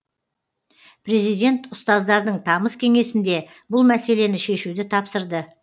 президент ұстаздардың тамыз кеңесінде бұл мәселені шешуді тапсырды